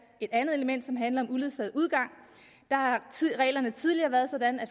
et andet element som handler om uledsaget udgang der har reglerne tidligere været sådan at